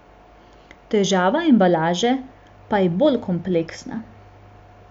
Težava embalaže pa je bolj kompleksna.